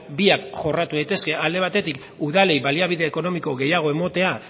biak jorratu daitezke alde batetik udalei baliabide ekonomiko gehiago ematea